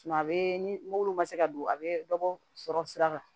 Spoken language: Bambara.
a bɛ ni wulu man se ka don a bɛ dɔ bɔ sɔrɔ sira kan